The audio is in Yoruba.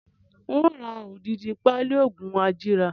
Ń ó ra odidi pali oògùn ajíra